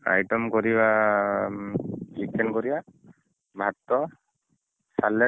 Item କରିବା chicken କରିଆ ଭାତ ସାଲଟ